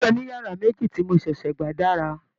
ilé oniyara meji ti mo ṣẹṣẹ gba dára.